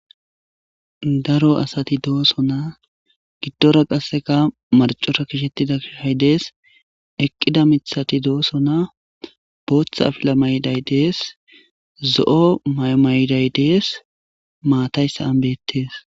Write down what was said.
Daro assati doosona giddora qaaseka marccora gishshetida dee's eqqida mithathi de'ssona bootha affila mayyidyssi de's zoo'o mayo maa'day dees maathay saa'n beettes